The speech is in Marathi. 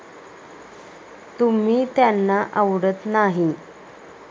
तुम्ही त्यांना आवडत नाही.